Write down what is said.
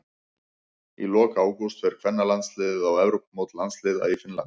Í lok ágúst fer kvennalandsliðið á Evrópumót landsliða í Finnlandi.